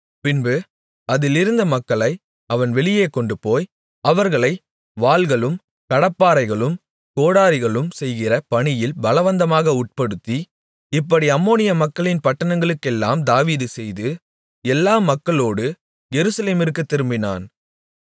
பின்பு அதிலிருந்த மக்களை அவன் வெளியே கொண்டுபோய் அவர்களை வாள்களும் கடப்பாரைகளும் கோடரிகளும் செய்கிற பணியில் பலவந்தமாக உட்படுத்தி இப்படி அம்மோனிய மக்களின் பட்டணங்களுக்கெல்லாம் தாவீது செய்து எல்லா மக்களோடு எருசலேமிற்குத் திரும்பினான்